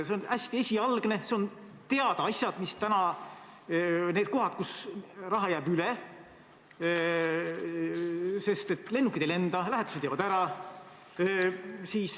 See on hästi esialgne ning see puudutab teadaolevaid asju, neid kohti, kus raha jääb üle, sest lennukid ei lenda, lähetused jäävad ära.